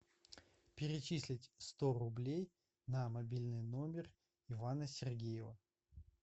перечислить сто рублей на мобильный номер ивана сергеева